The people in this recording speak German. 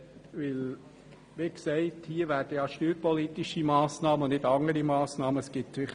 Wie gesagt werden hier steuerpolitische und nicht andere Massnahmen diskutiert.